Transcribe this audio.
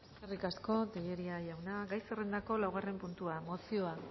eskerrik asko tellería jauna gai zerrendako laugarren puntua mozioa